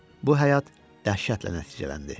Bu həyat dəhşətlə nəticələndi.